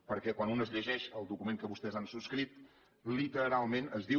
perquè quan un es llegeix el document que vostès han subscrit literalment es diu